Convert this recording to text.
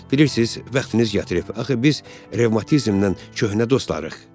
Bilirsiniz, vaxtınız gətirib, axı biz revmatizmlə köhnə dostlarıq.